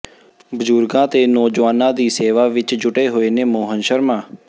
ਬਜ਼ੁਰਗਾਂ ਤੇ ਨੌਜਵਾਨਾਂ ਦੀ ਸੇਵਾ ਵਿੱਚ ਜੁਟੇ ਹੋਏ ਨੇ ਮੋਹਨ ਸ਼ਰਮਾ